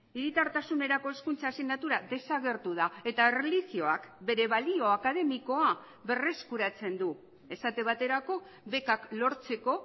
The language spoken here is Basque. hiritartasunerako hezkuntza asignatura desagertu da eta erlijioak bere balio akademikoa berreskuratzen du esate baterako bekak lortzeko